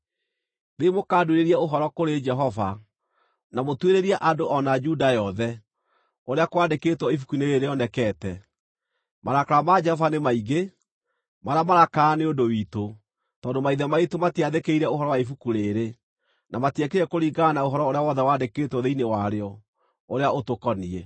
“Thiĩi mũkanduĩrĩrie ũhoro kũrĩ Jehova, na mũtuĩrĩrie andũ, o na Juda yothe, ũrĩa kwandĩkĩtwo ibuku-inĩ rĩĩrĩ rĩonekete. Marakara ma Jehova nĩ maingĩ, marĩa maraakana nĩ ũndũ witũ, tondũ maithe maitũ matiaathĩkĩire ũhoro wa ibuku rĩĩrĩ; na matiekire kũringana na ũhoro ũrĩa wothe wandĩkĩtwo thĩinĩ warĩo ũrĩa ũtũkoniĩ.”